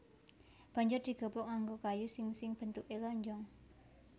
Banjur digepuk nganggo kayu sing sing bentuké lonjong